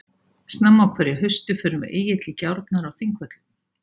Snemma á hverju hausti förum við Egill í gjárnar á Þingvöllum.